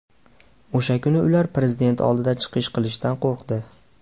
O‘sha kuni ular Prezident oldida chiqish qilishdan qo‘rqdi.